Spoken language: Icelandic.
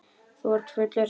Þú ert fullur, segir hún.